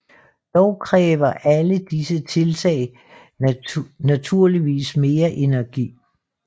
Dog kræver alle disse tiltag naturligvis mere energi